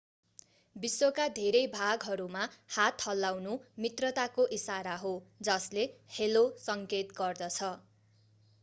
विश्वका धेरै भागहरूमा हात हल्लाउनु मित्रताको इशारा हो जसले हेलो सङ्केत गर्दछ